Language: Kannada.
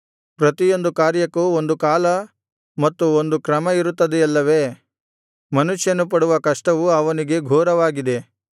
ಪ್ರತಿಯೊಂದು ಕಾರ್ಯಕ್ಕೂ ಒಂದು ಕಾಲ ಮತ್ತು ಒಂದು ಕ್ರಮ ಇರುತ್ತದೆಯಲ್ಲವೇ ಮನುಷ್ಯನು ಪಡುವ ಕಷ್ಟವು ಅವನಿಗೆ ಘೋರವಾಗಿದೆ